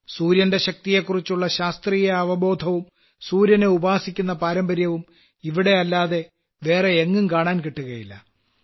സൂര്യന്റെ ശക്തിയെക്കുറിച്ചുള്ള ശാസ്ത്രീയഅവബോധവും സൂര്യനെ ഉപാസിക്കുന്ന പാരമ്പര്യവും ഇവിടെയല്ലാതെ വേറെയെങ്ങും കാണാൻ കിട്ടുകയില്ല